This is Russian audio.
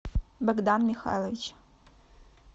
богдан михайлович